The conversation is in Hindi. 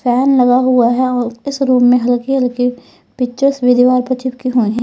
फन लगा हुआ है और इस रूम में हल्की हल्की पिक्चर्स भी दीवार पर चिपकी हुई हैं।